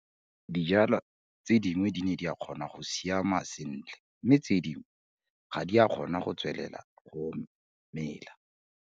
DIJWALWA TSE DINGWE DI NE DI KGONA GO SIAMA SENTLE MME TSE DINGWE GA DI A KGONA GO TSWELELA GO MELA.